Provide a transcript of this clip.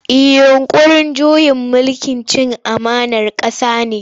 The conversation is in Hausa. Yinƙurin juyin mulki cin amanar ƙasa ne.